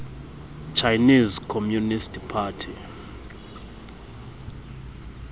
chinese communist party